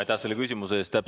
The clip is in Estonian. Aitäh selle küsimuse eest!